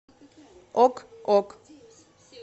ок ок